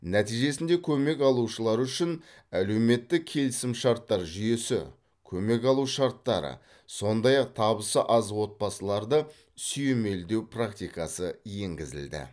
нәтижесінде көмек алушылар үшін әлеуметтік келісімшарттар жүйесі көмек алу шарттары сондай ақ табысы аз отбасыларды сүйемелдеу практикасы енгізілді